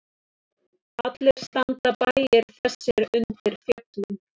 Allir standa bæir þessir undir fjöllum.